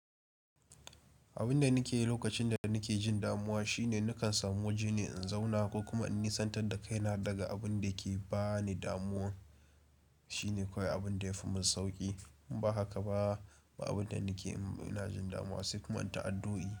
Abin da nake yi lokacin da nake jin damuwa shine nakan samu waje ne in zauna ko kuma in nisantar da kaina daga abin da yake bani damuwa. Shine kawai abin da yafi mun sauki. In ba haka ba, abin da nake in na jin damuwa sai kuma in ta addu'o'i.